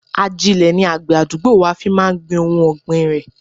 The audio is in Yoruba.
Ajile ni àgbè àdúgbò wa fi máa ń gbin ohun ọgbin rẹ.